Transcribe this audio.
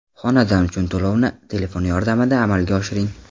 Xonadon uchun to‘lovni telefon yordamida amalga oshiring!.